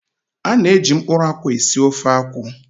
A na-eji mkpụrụ akwụ esi ofe akwụ.